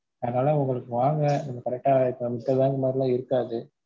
அதலாம் உங்களுக்கு வாங்க நம்ம correct டா மித்த பேங்க் மாதிரிலா இருக்காது.